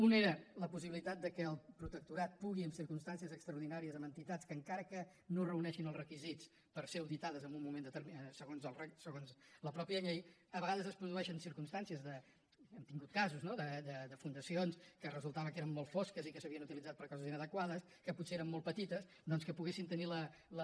una era la possibilitat que el protectorat pugui en circumstàncies extraordinàries amb entitats que encara que no reuneixin els requisits per ser auditades en un moment determinat segons la mateixa llei a vegades es produeixen circumstàncies n’hem tingut casos no de fundacions que resultava que eren molt fosques i que s’havien utilitzat per a coses inadequades que potser eren molt petites doncs que poguessin tenir la